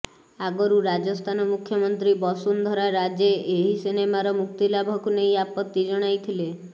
ଆଗରୁ ରାଜସ୍ଥାନ ମୁଖ୍ୟମନ୍ତ୍ରୀ ବସୁନ୍ଧରା ରାଜେ ଏହି ସିନେମାର ମୁକ୍ତିଲାଭକୁ ନେଇ ଆପତ୍ତି ଜଣାଇଥିଲେ